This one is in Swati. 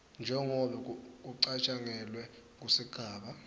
njengobe kucatjangelwe kusigaba